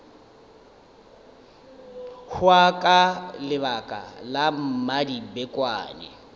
hwa ka lebaka la mmadibekwane